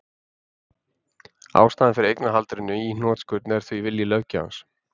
Ástæðan fyrir eignarhaldinu í hnotskurn er því vilji löggjafans.